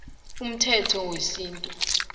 umthetho wesintu